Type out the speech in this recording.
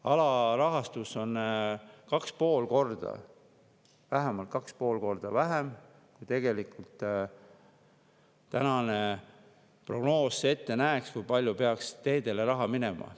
Alarahastus on, vähemalt 2,5 korda vähem, kui näeb ette prognoos selle kohta, kui palju tegelikult peaks teedele raha minema.